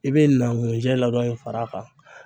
I be na ŋujɛ ladɔn far'a kan